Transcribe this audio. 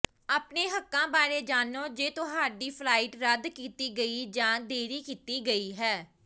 ਆਪਣੇ ਹੱਕਾਂ ਬਾਰੇ ਜਾਣੋ ਜੇ ਤੁਹਾਡੀ ਫਲਾਈਟ ਰੱਦ ਕੀਤੀ ਗਈ ਜਾਂ ਦੇਰੀ ਕੀਤੀ ਗਈ ਹੈ